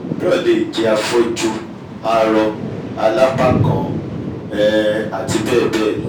ẹlòmíràn lè jẹ́ afọ́jú arọ alápá'kan um àti bẹ́ẹ̀ bẹ́ẹ̀ lọ